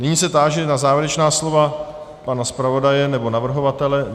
Nyní se táži na závěrečná slova pana zpravodaje nebo navrhovatele.